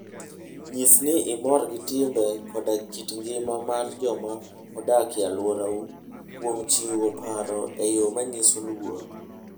Nyis ni imor gi timbe koda kit ngima mar joma odak e alworau kuom chiwo paro e yo manyiso luor.